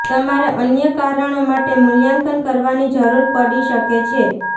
તમારે અન્ય કારણો માટે મૂલ્યાંકન કરવાની જરૂર પડી શકે છે